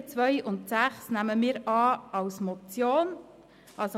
Die Ziffern 2 und 6 nehmen wir als Motion an.